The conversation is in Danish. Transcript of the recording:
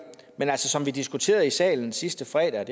men som vi diskuterede i salen sidste fredag